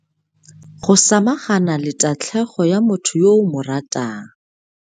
Go samagana le tatlhegelo ya motho yo o mo ratang.